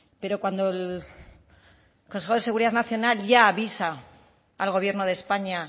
pero cuando el consejo de seguridad nacional ya avisa al gobierno de españa